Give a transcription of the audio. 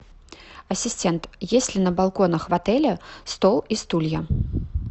ассистент есть ли на балконах в отеле стол и стулья